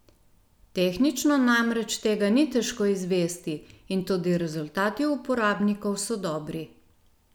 Tehnično namreč tega ni težko izvesti in tudi rezultati uporabnikov so dobri.